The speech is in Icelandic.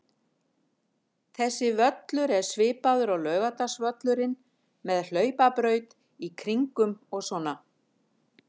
Þessi völlur er svipaður og Laugardalsvöllurinn, með hlaupabraut í kringum og svona.